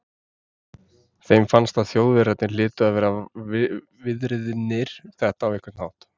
Þeim fannst að Þjóðverjarnir hlytu að vera viðriðnir þetta á einhvern hátt.